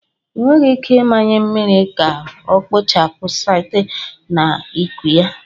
Ị nweghị ike ịmanye mmiri ka ọ kpochapụ site na ịkụ ya.